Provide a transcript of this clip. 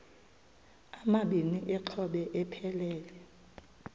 amabini exhobe aphelela